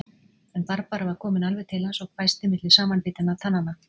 En Barbara var komin alveg til hans og hvæsti milli samanbitinna tannanna